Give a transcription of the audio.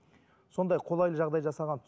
сондай қолайлы жағдай жасаған